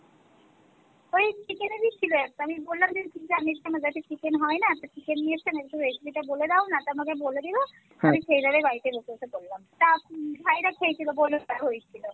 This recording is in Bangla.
ঐ chicken এরই ছিল একটা আমি বললাম যে আমাদের বাড়িতে chicken হয়না আমি chicken নিয়ে এসছি একটু recipe টা বলে দাও না তো আমাকে বলে দিলো আমি সেই ভাবে বাড়িতে বসে বসে করলাম তা ভাইয়েরা খেয়েছিলো, বললো ভালোই হয়েছিল।